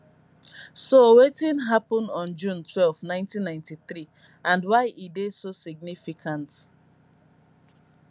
so wetin happen on june twelve 1993 and why e dey so significant